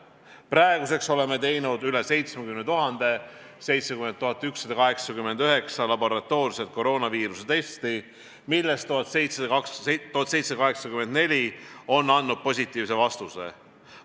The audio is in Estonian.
Praeguseks oleme teinud üle 70 000, täpsemalt 70 189 laboratoorset koroonaviiruse testi, millest 1784 on andnud positiivse vastuse.